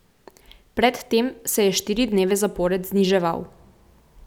Pred tem se je štiri dneve zapored zniževal.